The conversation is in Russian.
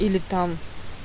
или там